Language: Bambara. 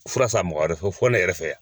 Fura san mɔgɔ wɛrɛ fɛ fɔ ne yɛrɛ fɛ yan.